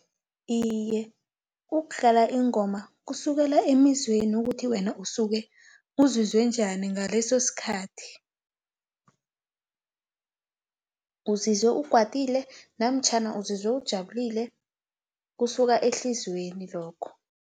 Iye, ukudlala ingoma kusukela emizweni ukuthi wena usuke uzizwe unjani ngaleso sikhathi, uzizwe ukwatile, namtjhana uzizwe ujabulile, kusuka ehliziyweni lokho.